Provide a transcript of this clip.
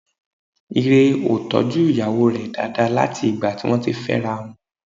Ire ò tọ́jú ìyàwó rẹ̀ dáadáa láti ìgbà tí wọ́n ti fẹ́ra wọn